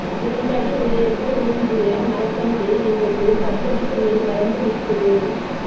இரண்டு அடி உயரத்தில் ஊன்றிய மரக்கன்று இன்றைக்கு பத்தடிக்கு மேல் வளர்ந்து நிக்குது